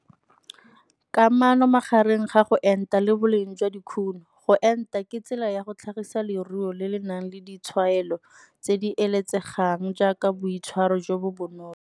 Kamano magareng ga go enta le boleng jwa dikuno, go enta ke tsela ya go tlhagisa leruo le le nang le ditshwanelo tse di eletsegang jaaka boitshwaro jo bo bonolo.